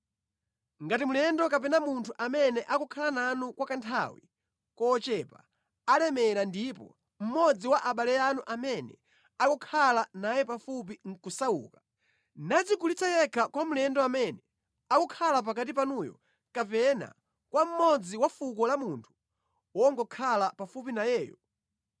“ ‘Ngati mlendo kapena munthu amene akukhala nanu kwa kanthawi kochepa alemera ndipo mmodzi wa abale anu amene akukhala naye pafupi nʼkusauka, nadzigulitsa yekha kwa mlendo amene akukhala pakati panuyo kapena kwa mmodzi wa fuko la munthu wongokhala pafupi nayeyo,